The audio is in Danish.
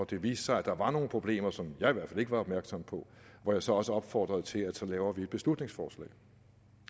det viste sig at der var nogle problemer som jeg i hvert fald ikke var opmærksom på hvor jeg så også opfordrede til at vi så laver et beslutningsforslag